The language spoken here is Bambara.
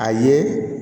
A ye